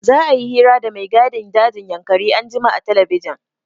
Za'a yi hira da mai gadin dajin Yankari anjima a telebijin.